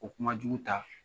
O kuma jugu ta